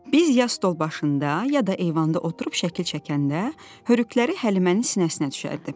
Biz ya stol başında, ya da eyvanda oturub şəkil çəkəndə, hörükləri Həlimənin sinəsinə düşərdi.